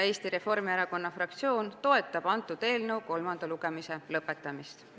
Eesti Reformierakonna fraktsioon toetab selle eelnõu kolmanda lugemise lõpetamist.